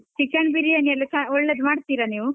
Chicken biryani ಎಲ್ಲ ಚ~ ಒಳ್ಳೆದು ಮಾಡ್ತಿರಾ ನೀವು?